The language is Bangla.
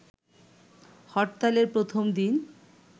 হরতালের প্রথম দিন